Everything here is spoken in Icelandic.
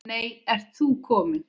Nei, ert þú kominn?